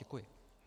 Děkuji.